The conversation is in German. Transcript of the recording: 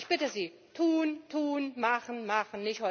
Also ich bitte Sie Tun, tun, machen, machen!